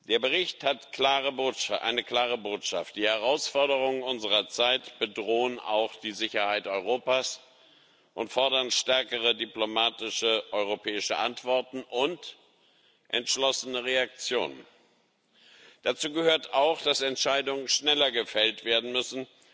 Der Bericht hat eine klare Botschaft Die Herausforderungen unserer Zeit bedrohen auch die Sicherheit Europas und fordern stärkere diplomatische europäische Antworten und entschlossene Reaktionen. Dazu gehört auch, dass Entscheidungen schneller gefällt werden müssen.